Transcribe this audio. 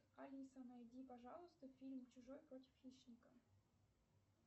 алиса найди пожалуйста фильм чужой против хищника